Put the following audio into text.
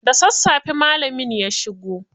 Da sassafe malamin ya shigo.